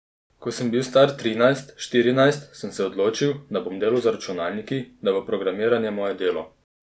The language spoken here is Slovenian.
Ko sem bil star trinajst, štirinajst, sem se odločil, da bom delal z računalniki, da bo programiranje moje delo.